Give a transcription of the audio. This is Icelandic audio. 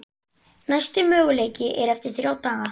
Næsti möguleiki er eftir þrjá daga.